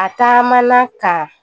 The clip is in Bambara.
A taama ka